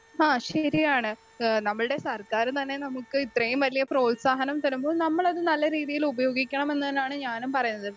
Speaker 2 ഹാ ശരിയാണ് ഏഹ് നമ്മൾടെ സർക്കാര് തന്നെ നമുക്ക് ഇത്രയും വലിയ പ്രോത്സാഹനം തരുമ്പോൾ നമ്മളത് നല്ല രീതിയിൽ ഉപയോഗിക്കണമെന്ന് തന്നാണ് ഞാനും പറയുന്നത്.